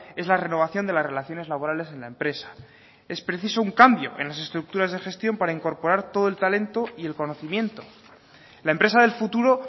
es la renovación de las relaciones laborales en la empresa es preciso un cambio en las estructuras de gestión para incorporar todo el talento y el conocimiento la empresa del futuro